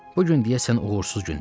Bu gün deyəsən uğursuz gündür.